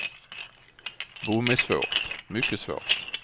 Bom är svårt, mycket svårt.